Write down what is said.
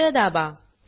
Enter दाबा